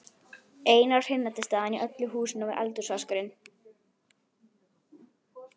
Eina hreinlætisaðstaðan í öllu húsinu var eldhúsvaskurinn.